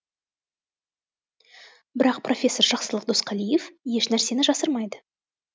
бірақ профессор жақсылық досқалиев ешнәрсені жасырмайды